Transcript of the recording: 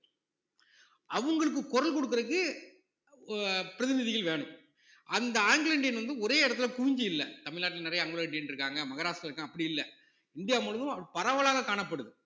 அவங்களுக்கு குரல் கொடுக்குறதுக்கு அ~ பிரதிநிதிகள் வேணும் அந்த ஆங்கிலோ இந்தியன் வந்து ஒரே இடத்துல குவிஞ்சு இல்ல தமிழ்நாட்டுல நிறைய ஆங்கிலோ இந்தியன் இருக்காங்க மகாராஷ்டிரால இருக்காங்க அப்படி இல்ல இந்தியா முழுவதும் பரவலாக காணப்படுது